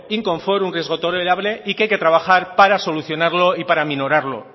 inconfort un riesgo tolerable y que hay que trabajar para solucionarlo y para aminorarlo